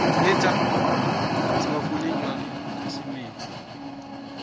siwafune njalo emakhasimende